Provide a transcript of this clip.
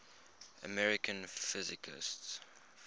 american physicists